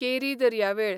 केरी दर्यावेळ